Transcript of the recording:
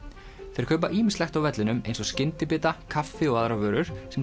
þeir kaupa ýmislegt á vellinum eins og skyndibita kaffi og aðrar vörur sem